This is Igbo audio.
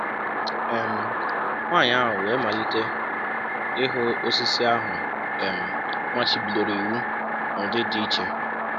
um Nwanyị ahụ wee malite ịhụ osisi ahụ a um machibidoro iwụ n’ụdị dị iche um.